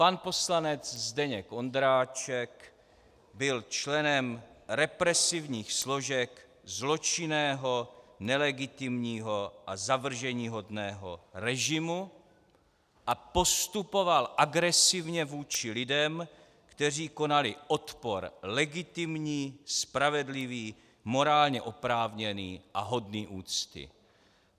Pan poslanec Zdeněk Ondráček byl členem represivních složek zločinného, nelegitimního a zavrženíhodného režimu a postupoval agresivně vůči lidem, kteří konali odpor legitimní, spravedlivý, morálně oprávněný a hodný úcty.